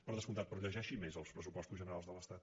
per descomptat però llegeixi més els pressupostos generals de l’estat